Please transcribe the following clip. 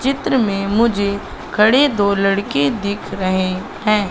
चित्र में मुझे खड़े दो लड़के दिख रहे हैं।